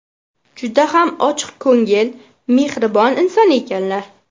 Juda ham ochiqko‘ngil, mehribon inson ekanlar.